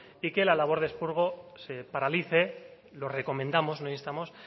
y que la labor de expurgo se paralice lo recomendamos no instamos